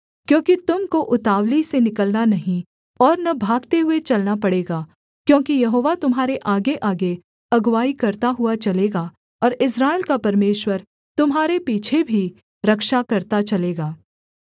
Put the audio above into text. क्योंकि तुम को उतावली से निकलना नहीं और न भागते हुए चलना पड़ेगा क्योंकि यहोवा तुम्हारे आगेआगे अगुआई करता हुआ चलेगा और इस्राएल का परमेश्वर तुम्हारे पीछे भी रक्षा करता चलेगा